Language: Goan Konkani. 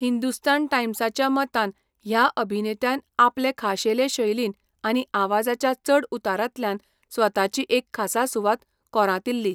हिंदुस्तान टायम्साच्या मतान 'ह्या अभिनेत्यान आपले खाशेले शैलीन आनी आवाजाच्या चडउतारांतल्यान स्वताची एक खासा सुवात कोरांतिल्ली.